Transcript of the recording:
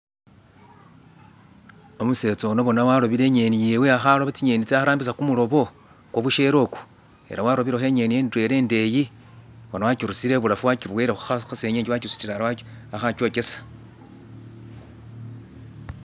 umusetsa ono bona alobele inyeni yewe aha loba tsinyeni tsewe aha rambisa kumulobo kwabushereku ela warobeleho inyeni ndwela indeyi bona wakyirusile ibulafu wakyiboyele hasengenge wakyisutile ari aho akyokyesa